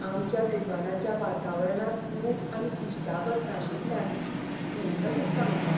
आमच्या दुकानाच्या वातावरणांत ऊब आनी इश्टागत नाशिल्ल्यान खंत दिसता म्हाका.